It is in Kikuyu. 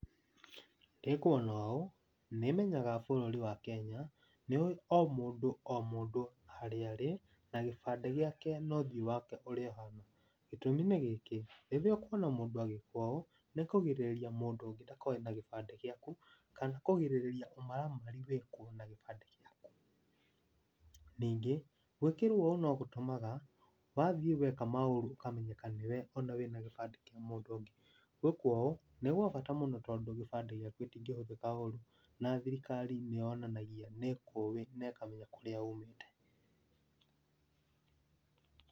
Ndĩ kuona ũũ, nĩ menyaga bũrũri wa Kenya nĩ ũwĩ o mũndũ o mũndũ harĩa arĩ, na gĩbandĩ gĩake na ũthiũ wake ũrĩ o hau. Gĩtũmi nĩ gĩkĩ, rĩrĩa ũkuona mũndũ agĩkwo ũũ, nĩ kũgirĩrĩria mũndũ ũngĩ ndakoe na gĩbandĩ gĩaku kana kũgirĩrĩria ũmaramari wĩkwo na gĩbandĩ gĩaku. Ningĩ, gwĩkĩrwo ũũ no gũtũmaga wathiĩ weka maũru ũkamenyeka nĩwe o na ena gĩbandĩ kĩa mũndũ ũngĩ. Gwĩkwo ũũ nĩ gwa bata mũno, tondũ gĩbandĩ gĩaku gĩtingĩhũthĩka ũru, na thirikari nĩ yonanagia nĩ ĩkũi na ĩkamenya kũrĩa umĩte.